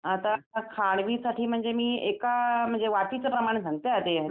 आता खांडवी साठी मी एका म्हणजे वाटीचं प्रमाण सांगते